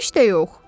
Heç də yox.